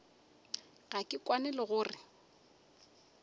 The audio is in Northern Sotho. ga ke kwane le gore